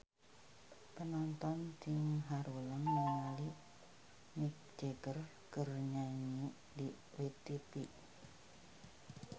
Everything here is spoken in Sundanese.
Panonton ting haruleng ningali Mick Jagger keur nyanyi di tipi